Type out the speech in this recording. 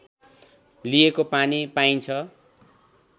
लिएको पनि पाइन्छ